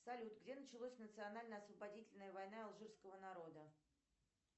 салют где началась национальная освободительная война алжирского народа